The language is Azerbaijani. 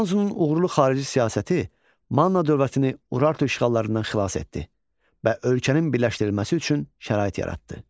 İranzunun uğurlu xarici siyasəti Manna dövlətini Urartu işğallarından xilas etdi və ölkənin birləşdirilməsi üçün şərait yaratdı.